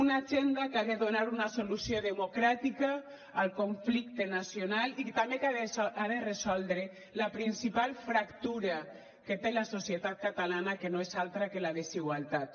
una agenda que ha de donar una solució democràtica al conflicte nacional i també que ha de resoldre la principal fractura que té la societat catalana que no és altra que la desigualtat